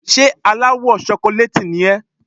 Ṣé aláwọ̀ ṣokolééètì ni ẹ́?